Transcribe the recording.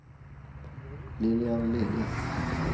Lilian Lilja